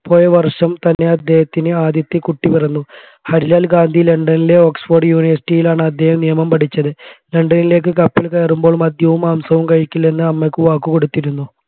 പോയവർഷം തന്നെ അദ്ദേഹത്തിന് ആദ്യത്തെ കുട്ടി പിറന്നു ഹരിലാൽ ഗാന്ധി ലണ്ടനിലെ oxford university യിലാണ് അദ്ദേഹം നിയമം പഠിച്ചത് ലണ്ടനിലേക്ക് കയറുമ്പോൾ മദ്യവും മാംസവും കഴിക്കില്ലെന്ന് അമ്മയ്ക്ക് വാക്കു കൊടുത്തിരുന്നു